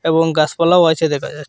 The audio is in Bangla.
এবং গাসপালাও আছে দেখা যাচ্ছে।